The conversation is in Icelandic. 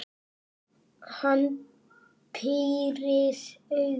Hann pírir augun.